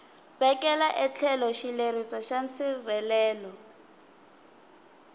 vekela etlhelo xileriso xa nsirhelelo